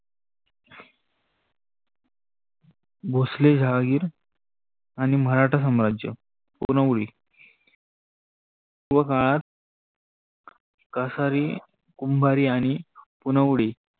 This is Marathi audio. भोसाले जहागिर आणि मराठा सम्राज पुनवडी व काळात काशारी, कुम्भारी आणि पुनवडी